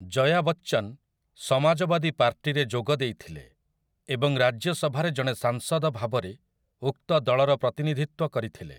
ଜୟା ବଚ୍ଚନ୍ ସମାଜବାଦୀ ପାର୍ଟିରେ ଯୋଗ ଦେଇଥିଲେ ଏବଂ ରାଜ୍ୟସଭାରେ ଜଣେ ସାଂସଦ ଭାବରେ ଉକ୍ତ ଦଳର ପ୍ରତିନିଧିତ୍ୱ କରିଥିଲେ ।